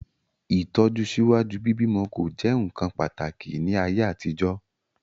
Itọju síwájú bíbí'mọ ko jẹ nkán pàtàkì ni ayé àtijọ́.